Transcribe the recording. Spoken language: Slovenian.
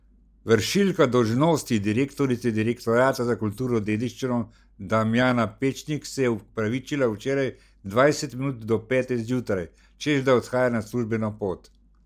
Vršilka dolžnosti direktorice direktorata za kulturno dediščino Damjana Pečnik se je opravičila včeraj dvajset minut do pete zjutraj, češ da odhaja na službeno pot.